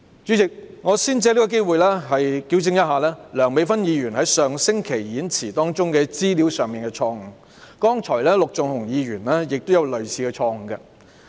主席，我先藉此機會糾正梁美芬議員在上星期發言中的一些資料錯誤，剛才陸頌雄議員也有類似錯誤。